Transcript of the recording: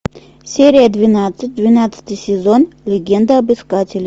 серия двенадцать двенадцатый сезон легенда об искателе